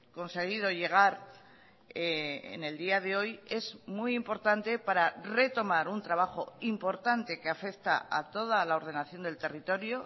conseguido llegar en el día de hoy es muy importante para retomar un trabajo importante que afecta a toda la ordenación del territorio